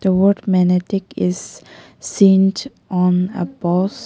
The word magnetic is seen on a post.